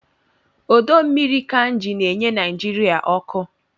Ọdọmmiri Kainji na-enye Naijiria ọkụ